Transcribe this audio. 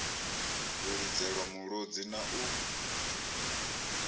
u lidzelwa mulodzi na u